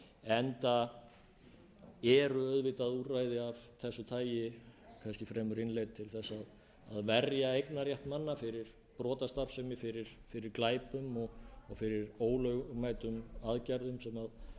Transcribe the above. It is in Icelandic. enda eru auðvitað úrræði af þessu tagi kannski fremur innleidd til að verja eignarrétt manna fyrir brotastarfsemi fyrir glæpum og fyrir ólögmætum aðgerðum sem rýra eignir